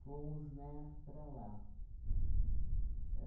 Fomos, né, para lá.